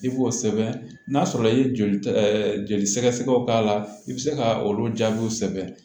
I b'o sɛbɛn n'a sɔrɔ i ye joli joli sɛgɛsɛgɛ k'a la i bi se ka olu jaabiw sɛbɛn